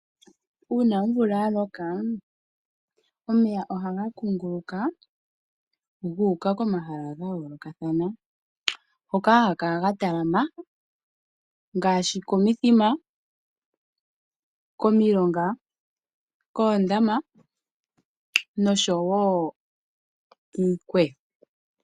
Uuna omvula ya loka omeya ohaga kunguluka gu uka komahala ga yoolokathana. Hoka haga kala ga talama ngaashi komithima, komilonga, koondama nosho wo kiikweyo.